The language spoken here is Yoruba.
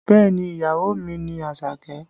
Bẹẹ ni, ìyàwó mi ni Àṣàkẹ́?